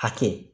Hakɛ